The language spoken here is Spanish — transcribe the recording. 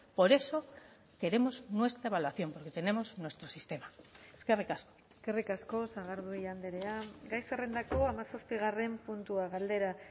por eso queremos nuestra evaluación porque tenemos nuestro sistema eskerrik asko eskerrik asko sagardui andrea gai zerrendako hamazazpigarren puntua galdera